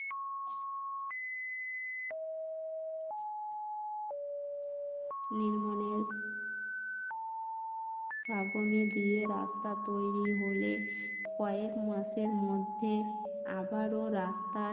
দিয়ে রাস্তা তৈরি হলে কয়েক মাসের মধ্যে আবারো রাস্তার